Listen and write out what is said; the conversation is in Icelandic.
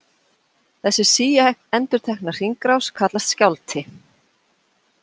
Þessi síendurtekna hringrás kallast skjálfti.